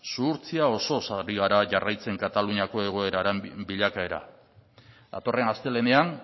zuhurtzia osoz ari gara jarraitzen kataluniako egoeraren bilakaera datorren astelehenean